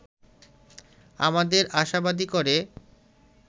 আমাদের আশাবাদী করে